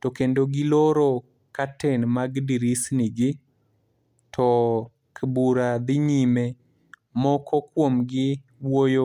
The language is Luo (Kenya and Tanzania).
To kendo giloro curtain mag dirisni gi, to bura dhi nyime. Moko kuomgi wuoyo